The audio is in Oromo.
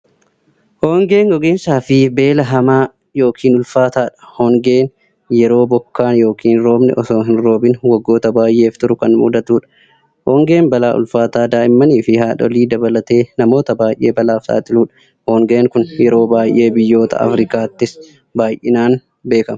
Hongeen gogiinsafi beela hamaa yookiin ulfaatadha. Hongeen yeroo bokkaan yookiin roobni osoo hin roobiin waggoota baay'eef turu kan mudatuudha. Hongeen balaa ulfaataa daa'immanfi haadholii dabalatee namoota baay'ee balaaf saaxiluudha. Hongeen kun yeroo baay'ee biyyoota afrikaattis baay'inaan beekama.